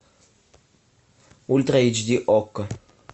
ультра эйч ди окко